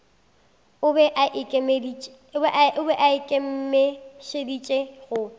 o be a ikemišeditše go